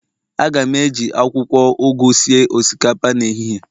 A ga m eji akwukwo ugu sie osikapa n'ehihie